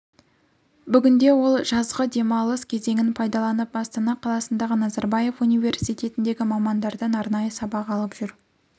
бүгінде ол жазғы демалыс кезеңін пайдаланып астана қаласындағы назарбаев университетіндегі мамандардан арнайы сабақ алып жүр